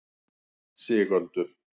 Sigöldu